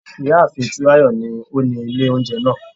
Ìyá àfin Túnráyọ̀ ni ó ni ilé oúnjẹ náà